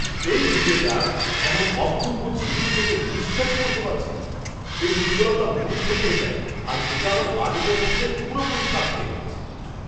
এই হিরেটার এমন অপূর্ব ঝিলিক দেখে বিশ্বাসই করতে পারছি না! এর উজ্জ্বলতা মুগ্ধ করে দেয়, আর এটা আমার বাজেটের মধ্যে পুরোপুরি খাপ খেয়ে যাচ্ছে।